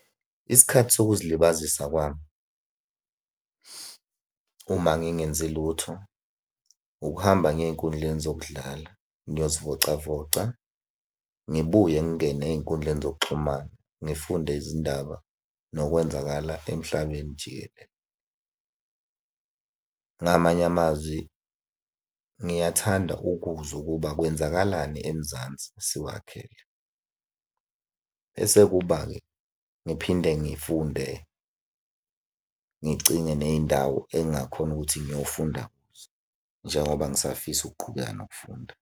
Isikhathi sokuzilibazisa kwami uma ngingenzi lutho, ukuhamba ngiye ey'nkundleni zokudlala ngiyozivocavoca. Ngibuye ngingene ey'nkundleni zokuxhumana, ngifunde izindaba ngokwenzakala emhlabeni jikelele. Ngamanye amazwi ngiyathanda ukuzwa ukuba kwenzakalani eMzansi siwakhele. Bese kuba-ke ngiphinde ngifunde ngicinge ney'ndawo engingakhona ukuthi ngiyofunda kuzo njengoba ngisafisa ukuqhubeka nokufunda.